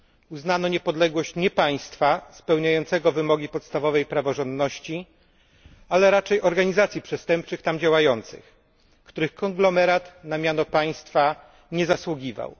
Uznano niepodległość nie państwa spełniającego wymogi podstawowej praworządności, ale raczej organizacji przestępczych tam działających, których konglomerat na miano państwa nie zasługiwał.